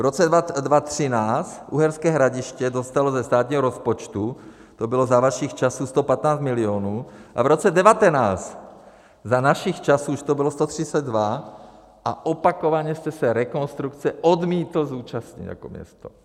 V roce 2013 Uherské Hradiště dostalo ze státního rozpočtu, to bylo za vašich časů, 115 milionů a v roce 2019, za našich časů, už to bylo 132 a opakovaně jste se rekonstrukce odmítli účastnit jako město.